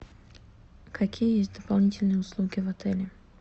какие есть дополнительные услуги в отеле